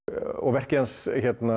verkið hans